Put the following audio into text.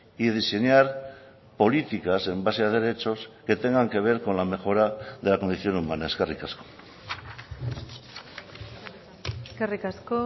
y diseñar políticas en base a derechos que tengan que ver con la mejora de la condición humana eskerrik asko eskerrik asko